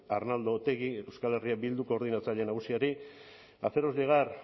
arnaldo otegi euskal herria bildu koordinatzaile nagusiari haceros llegar